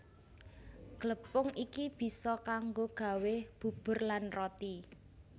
Glepung iki bisa kanggo gawé bubur lan roti